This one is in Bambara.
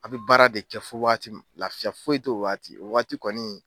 A bi baara de kɛ fɔ wagati min laafiya foyi t'o wagati o wagati kɔni